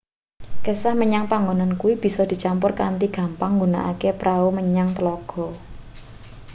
kesah menyang panggonan kuwi bisa dicampur kanthi gampang nggunakake prau menyang tlaga